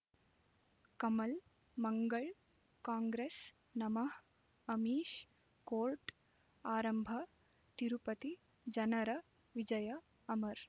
ಕಮಲ್ ಮಂಗಳ್ ಕಾಂಗ್ರೆಸ್ ನಮಃ ಅಮಿಷ್ ಕೋರ್ಟ್ ಆರಂಭ ತಿರುಪತಿ ಜನರ ವಿಜಯ ಅಮರ್